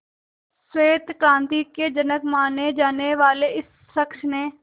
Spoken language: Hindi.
श्वेत क्रांति के जनक माने जाने वाले इस शख्स ने